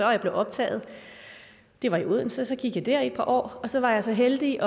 og jeg blev optaget det var i odense og så gik jeg der i et par år og så var jeg så heldig